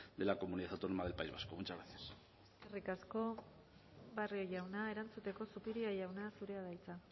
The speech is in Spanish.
de la comunidad autónoma del país vasco muchas gracias eskerrik asko barrio jauna erantzuteko zupiria jauna zurea da hitza